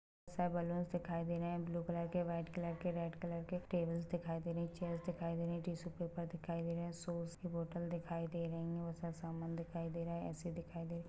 --बहोत से बैलून दिखाई दे रहे है ब्लू कलर व्हाइट कलर के रेड कलर के टेबल्स दिखाई दे रही है चेयर्स दिखाई दे रही है टिश्यु पेपर दिखाई दे रहे है सॉस की बोटल दिखाई दे रही है और सब सामान दिखाई दे रहे है ऐसे दिखाई दे।